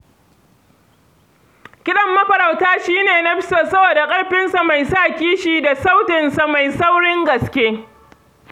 Kiɗan mafarauta shi ne na fi so saboda ƙarfinsa mai sa kishi kai da sautinsa mai saurin gaske.